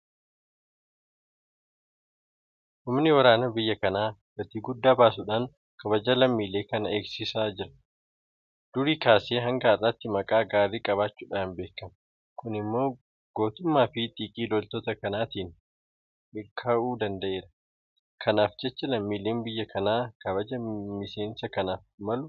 Humni waraana biyya kanaa gatii guddaa baasuudhaan kabaja lammiilee kanaa eegsisaa jira. Durii kaasee hanga har'aatti maqaa gaarii qabaachuudhaan beekama. Kun immoo gootummaafi xiiqii loltoota kanaatiin mirkanaa'uu danda'e. Kanaaf jecha lammiileen biyya kanaa kabaja miseensa kanaaf malu kennuufii qabu.